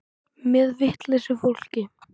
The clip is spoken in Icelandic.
Með vitlausu fólki.